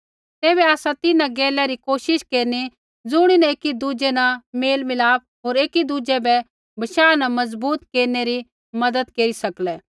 तैबै आसा तिन्हां गैला री कोशिश केरनी ज़ुणीन एकी दुज़ै न मेल मिलाप होर एकी दुज़ै बै बशाह न मजबूत केरनै री मज़त केरी सकलै